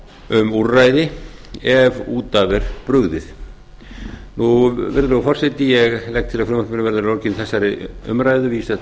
um úrræði ef út af er brugðið virðulegur forseti ég legg til að frumvarpinu verði að lokinni þessari umræðu vísað